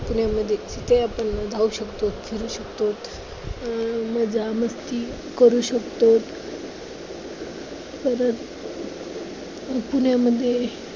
पुण्यामध्ये जिथे आपण जाऊ शकतो, फिरू शकतो. अं मजा-मस्ती करू शकतो. परत पुण्यामध्ये